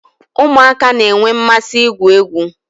Ụmụaka na-enwe mmasị igwu egwu